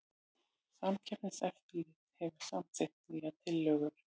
Samkeppniseftirlitið hefur samþykkt nýja tilhögun